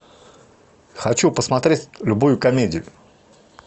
хочу посмотреть любую комедию